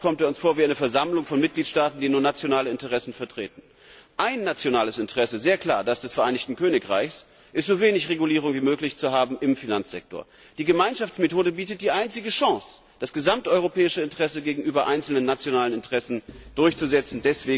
so genau. Oft kommt er uns vor wie eine Versammlung von Mitgliedstaaten, die nur nationale Interessen vertreten. Ein nationales Interesse sehr klar das des Vereinigten Königreichs ist, im Finanzsektor so wenig Regulierung wie möglich zu haben. Die Gemeinschaftsmethode bietet die einzige Chance, das gesamteuropäische Interesse gegenüber einzelnen nationalen Interessen durchzusetzen.